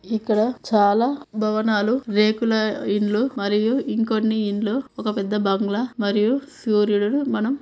ఇక్కడ చాలా భవనాలు రేకుల ఇండ్లు మరియు ఇంకొన్ని ఇండ్లు ఒక పెద్ద బంగ్లా మరియు సూర్యుడు మనం--